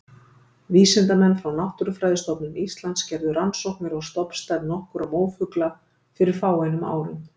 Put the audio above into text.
Vísindamenn frá Náttúrufræðistofnun Íslands gerðu rannsóknir á stofnstærð nokkurra mófugla fyrir fáeinum árum.